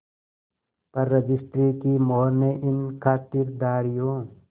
पर रजिस्ट्री की मोहर ने इन खातिरदारियों